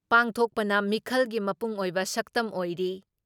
ꯄꯥꯡꯊꯣꯛꯄꯅ ꯃꯤꯈꯜꯒꯤ ꯃꯄꯨꯡꯑꯣꯏꯕ ꯁꯛꯇꯝ ꯑꯣꯏꯔꯤ ꯫